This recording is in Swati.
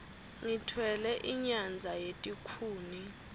ngitfwele inyadza yetikhuni